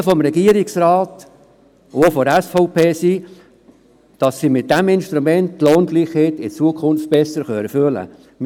Die Erwartungen des Regierungsrates und auch jene der SVP sind, dass sie mit diesem Instrument die Lohngleichheit in Zukunft besser erfüllen können.